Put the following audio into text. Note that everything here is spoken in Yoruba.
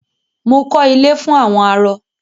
Mo kọ́ ilé fún àwọn arọ.